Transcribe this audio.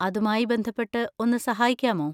അതുമായി ബന്ധപ്പെട്ട് ഒന്ന് സഹായിക്കാമോ?